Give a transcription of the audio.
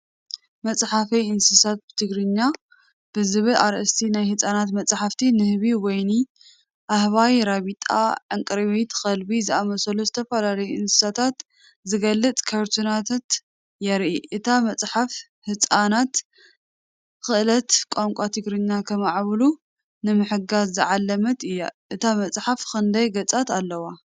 "መጽሓፈይ እንስሳታት ብትግርኛ" ብዝብል ኣርእስቲ ናይ ህጻናት መጽሓፍ፡ ንህቢ፡ ወይኒ፡ ኣህባይ፡ ራቢጣ፡ ዕንቅርቢት፡ ከልቢ ዝኣመሰሉ ዝተፈላለዩ እንስሳታት ዝገልጽ ካርቱንታት የርኢ። እታ መጽሓፍ፡ ህጻናት ክእለት ቋንቋ ትግርኛ ንኸማዕብሉ ንምሕጋዝ ዝዓለመት እያ። እታ መጽሓፍ ክንደይ ገጻት ኣለዋ?